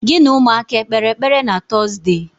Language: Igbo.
Gị na ụmụaka ekpeere ekpere na Tọzde?